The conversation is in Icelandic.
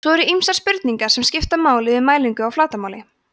svo eru ýmsar spurningar sem skipta máli við mælingu á flatarmáli